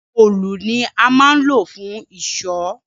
òòlù ni a máa ń lò fún ìṣọ́